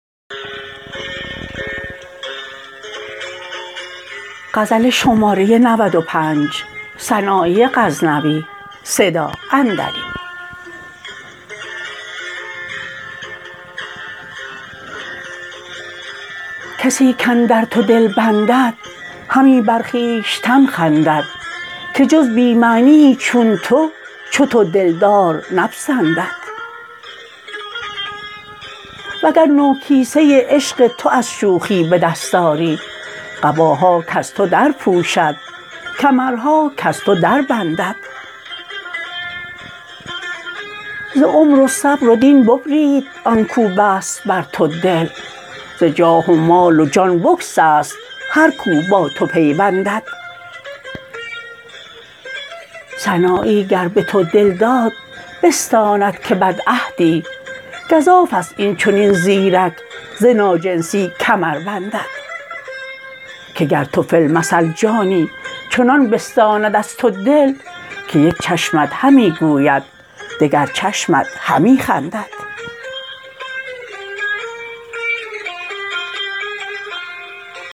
کسی کاندر تو دل بندد همی بر خویشتن خندد که جز بی معنیی چون تو چو تو دلدار نپسندد وگر نو کیسه عشق تو از شوخی به دست آری قباها کز تو در پوشد کمرها کز تو در بندد ز عمر و صبر و دین ببرید آنکو بست بر تو دل ز جاه و مال و جان بگسست هر کو با تو پیوندد سنایی گر به تو دل داد بستاند که بدعهدی گزافست این چنین زیرک ز ناجنسی کمر رندد که گر تو فی المثل جانی چنان بستاند از تو دل که یک چشمت همی گوید دگر چشمت همی خندد